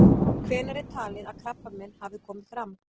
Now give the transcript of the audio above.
Hvenær er talið að krabbamein hafi komið fram?